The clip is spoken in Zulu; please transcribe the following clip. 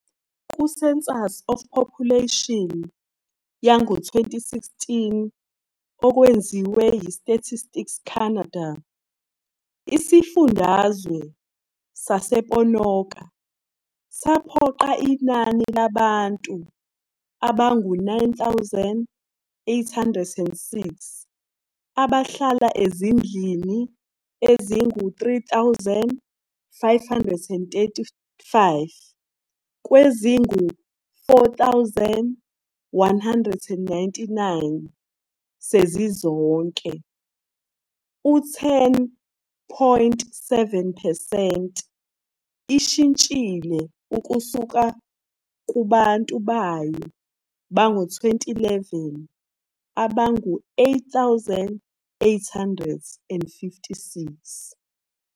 Ku- Census of Population yango-2016 okwenziwa yiStatistics Canada, iSifundazwe sasePonoka saqopha inani labantu abayizi-9,806 abahlala ezindlini ezingama-3,535 kwezingu-4,199 sezizonke, U-10.7 percent ishintshile ukusukakubantu bayo bango-2011 abangu-8,856.